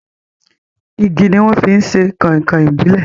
Igi ni wọ́n fi ṣe Kọ̀nkọ̀ ìbílè